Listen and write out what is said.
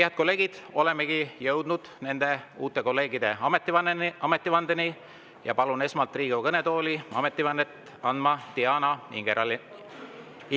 " Head kolleegid, olemegi jõudnud nende uute kolleegide ametivandeni ja palun esmalt Riigikogu kõnetooli ametivannet andma Diana Ingeraineni.